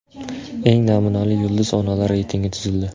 Eng namunali yulduz onalar reytingi tuzildi.